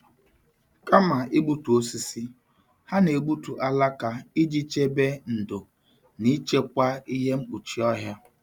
Kama igbutu osisi, ha na-egbutu alaka iji chebe ndò na ichekwa ihe mkpuchi ọhịa.